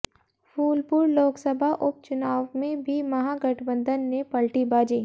फूलपुर लोकसभा उपचुनाव में भी महागठबंधन ने पलटी बाजी